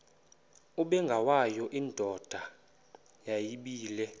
ubengwayo indoda yayibile